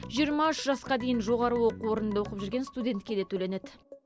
жиырма үш жасқа дейін жоғары оқу орнында оқып жүрген студентке де төленеді